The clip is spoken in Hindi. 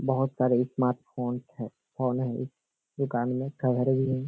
बहुत सारे स्मार्टफ़ोन है। फ़ोन हई दुकान में ।